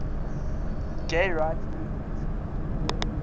gay rights movement